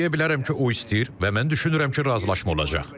Mən deyə bilərəm ki, o istəyir və mən düşünürəm ki, razılaşma olacaq.